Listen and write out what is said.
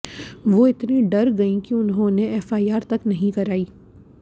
वो इतनी डर गईं कि उन्होंने एफआईआर तक नहीं कराई